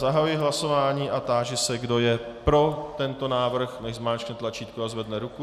Zahajuji hlasování a táži se, kdo je pro tento návrh, ať zmáčkne tlačítko a zvedne ruku.